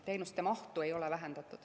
Teenuste mahtu ei ole vähendatud.